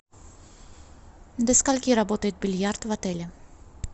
до скольки работает бильярд в отеле